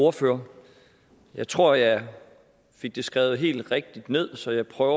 ordfører jeg tror jeg fik det skrevet helt rigtigt ned så jeg prøver